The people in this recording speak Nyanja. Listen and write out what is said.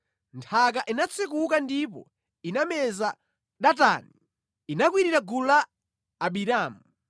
Nthaka inatsekuka ndipo inameza Datani; inakwirira gulu la Abiramu.